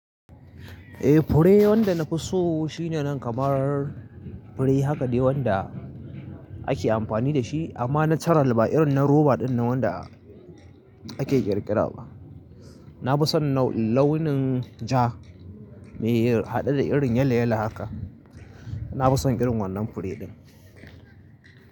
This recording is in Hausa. Eh fure wanda na fi so shine nan kamar fure haka dai wanda ake amfani da shi amma natural ba irin na roba dinnan wanda ake ƙirƙira ba. Na fi son launin ja mai haɗe da irin yala yala haka. Na fi son irin wannan fure din.